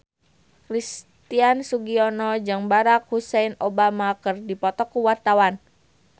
Christian Sugiono jeung Barack Hussein Obama keur dipoto ku wartawan